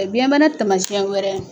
Ɛ biyɛnbana tamasiyɛn wɛrɛ